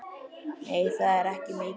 Nei, það er ekki mikið.